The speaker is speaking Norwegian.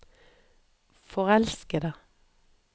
forelskede